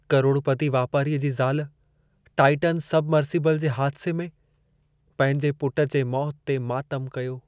करोड़पती वापारीअ जी ज़ाल टाइटन सबमर्सिबल जे हादिसे में पंहिंजे पुटु जे मौति ते मातमु कयो.